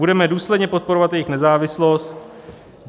Budeme důsledně podporovat jejich nezávislost."